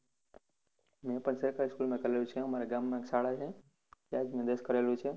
મેં પણ સરકારી school માં કરેલું છે, અમારા ગામમા શાળા છે, ત્યાંથી દસમું કરેલું છે.